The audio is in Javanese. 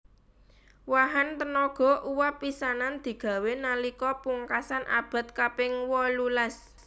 Wahan tenaga uwab pisanan digawé nalika pungkasan abad kaping wolulas